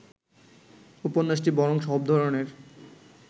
উপন্যাসটি বরং সব ধরনের